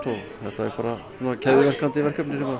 þetta er bara keðjuverkandi verkefni sem